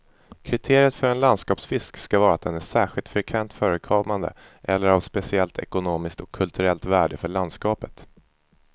Kriteriet för en landskapsfisk skall vara att den är särskilt frekvent förekommande eller av speciellt ekonomiskt och kulturellt värde för landskapet.